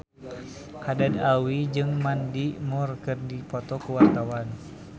Haddad Alwi jeung Mandy Moore keur dipoto ku wartawan